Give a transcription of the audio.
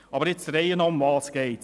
Aber der Reihe nach: Worum geht es?